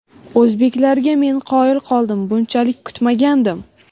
O‘zbeklarga men qoyil qoldim, bunchalik kutmagandim.